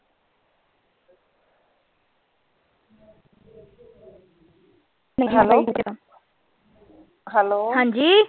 hello hello